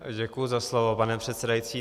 Děkuji za slovo, pane předsedající.